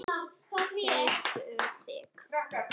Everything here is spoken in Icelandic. Teygðu þig.